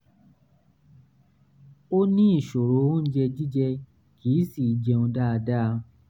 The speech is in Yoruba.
ó ní ìṣòro oúnjẹ jíjẹ kì í sì í jẹun dáadáa